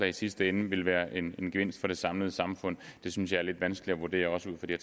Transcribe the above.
i sidste ende vil være en gevinst for det samlede samfund det synes jeg er lidt vanskeligt at vurdere også ud fra de